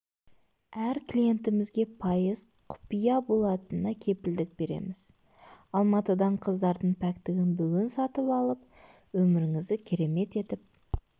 әр клиентімізге пайыз құпия болатынына кепілдік береміз алматыдан қыздың пәктігін бүгін сатып алып өміріңізді керемет етіп